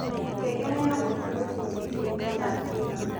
ngengere ya rũcĩũ rũcĩĩnĩĩkĩrĩtwo thaa cĩĩgana